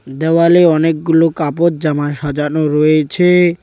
দেওয়ালে অনেকগুলো কাপড় জামা সাজানো রয়েছে।